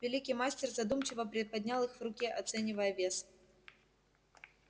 великий мастер задумчиво приподнял их в руке оценивая вес